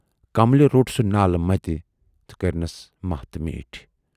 کملہِ روٹ سُہ نالہٕ مَتہِ تہٕ کٔرۍنَس ماہ تہٕ میٖٹھۍ۔